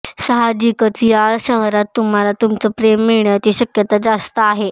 साहजिकच या शहरात तुम्हाला तुमचं प्रेम मिळण्याची शक्यता जास्त आहे